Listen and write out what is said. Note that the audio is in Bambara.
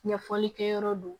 Ɲɛfɔli kɛ yɔrɔ don